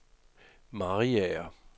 Mariager